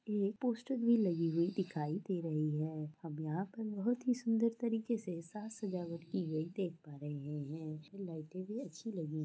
ये पोस्टर भी लगी हुई दिखाई दे रहे है और यहां पर बहुत ही सुन्दर तरीके से साज सजावट देख पा रहे है लाइटें भी अच्छी लगी है।